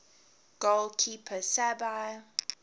goal keeper sabir